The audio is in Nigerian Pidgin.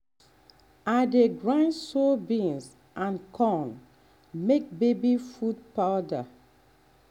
i dey grind soybean and corn make baby food powder.